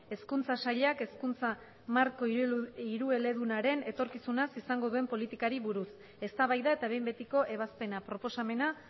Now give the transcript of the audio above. eskuntza saiak eskuntza marko irielur irueledunalaren etorkisuna sezan gogen politikari buruz es da baida eta bein betiko ebazpena proposamena